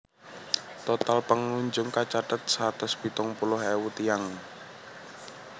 Total pangunjung kacathet satus pitung puluh ewu tiyang